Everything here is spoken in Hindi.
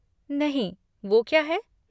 नहीं, वो क्या है?